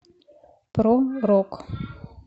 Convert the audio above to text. про рок